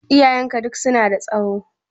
Iyayenka duk su na da tsaho?